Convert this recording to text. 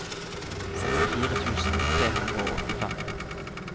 sekstifire tusen tre hundre og åttifem